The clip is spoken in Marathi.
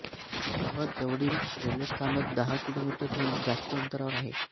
सर्वात जवळील रेल्वे स्थानक दहा किलोमीटरहून जास्त अंतरावर आहे